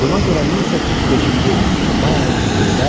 Buna görə 1805-ci il may ayının birində